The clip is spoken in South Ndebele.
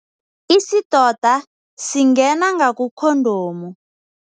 Isidoda singena ngakukhondomu.